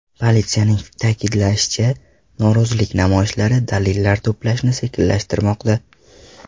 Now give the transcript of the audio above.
Politsiyaning ta’kidlashicha, norozilik namoyishlari dalillar to‘plashni sekinlashtirmoqda.